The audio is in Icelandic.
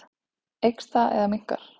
Eykst það eða minnkar?